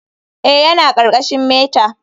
Eh, yana ƙarƙashin meta.